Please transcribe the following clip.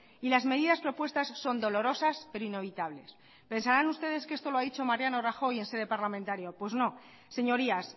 y las medidas propuestas son dolorosas pero inevitables pensarán ustedes que esto lo ha dicho mariano rajoy en sede parlamentaria pues no señorías